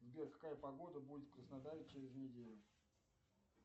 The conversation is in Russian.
сбер какая погода будет в краснодаре через неделю